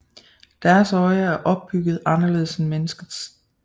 Deres øje er opbygget anderledes end menneskets